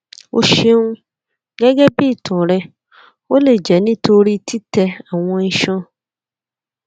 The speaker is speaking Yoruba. o ṣeun gẹgẹbi itan rẹ o le jẹ nitori titẹ awọn iṣan